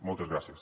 moltes gràcies